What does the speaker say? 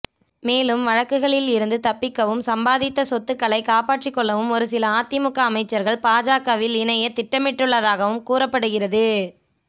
மேலும் வழக்குகளில் இருந்து தப்பிக்கவும் சம்பாதித்த சொத்துக்களை காப்பாற்றி கொள்ளவும் ஒருசில அதிமுக அமைச்சர்கள் பாஜகவில் இணைய திட்டமிட்டுள்ளதாகவும் கூறப்படுகிறது